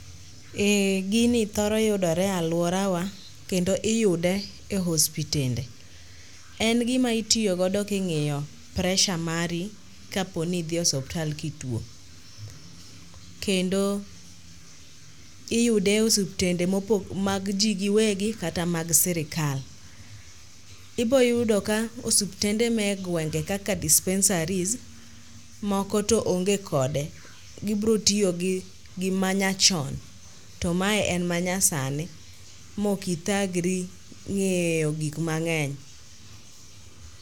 Eh gini thoro yudore e alworawa kendo iyude e hospitende. En gima itiyogodo king'iyo presha mari kapo ni idhi osuptal kituo. Kendo iyude e osuptende mag ji giwegi kata mag sirikal. Iboyudo ka osuptende ma e gwenge kaka dispensaries moko to onge kode, gibrotiyogi manyachon to mae en manyasani mokithagri ng'eyo gik mang'eny.